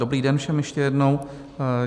Dobrý den všem ještě jednou.